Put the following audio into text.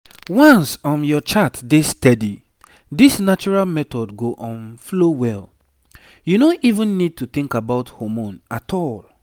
once um your chart dey steady this natural method go um flow well—you no even need to think about hormone at all.